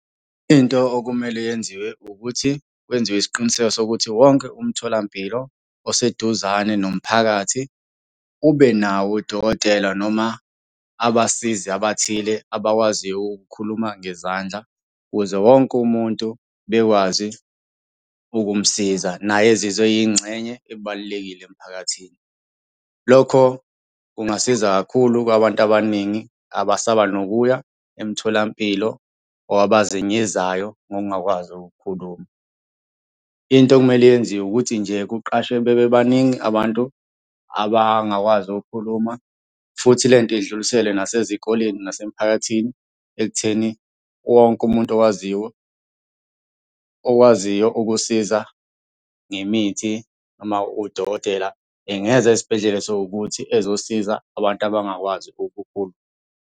Into okumele yenziwe ukuthi kwenziwe isiqiniseko sokuthi wonke umtholampilo oseduzane nomphakathi ubenawo udokotela noma abasizi abathile abakwaziyo ukukhuluma ngezandla ukuze wonke umuntu bekwazi ukumsiza, naye ezizwe eyingcenye ebalulekile emphakathini. Lokho kungasiza kakhulu kwabantu abaningi abasaba nokuya emtholampilo or abazenyezayo ngokungakwazi ukukhuluma. Into okumele yenziwe ukuthi nje kuqashwe bebe baningi abantu abangakwazi ukukhuluma futhi. lento idluliselwe nasezikoleni, nasemiphakathini ekutheni wonke umuntu owaziyo, owaziyo ukusiza ngemithi noma udokotela engeza esibhedlela esowukuthi ezosiza abantu abangakwazi ukukhuluma.